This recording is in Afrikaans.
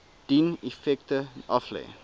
dien effekte aflê